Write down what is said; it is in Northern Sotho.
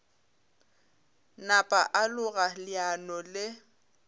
napa a loga leano le